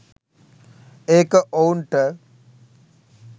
ඒක ඔවුන්ට